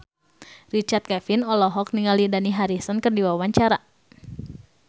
Richard Kevin olohok ningali Dani Harrison keur diwawancara